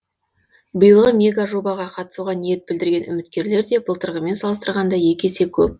биылғы мегажобаға қатысуға ниет білдірген үміткерлер де былтырғымен салыстырғанда екі есе көп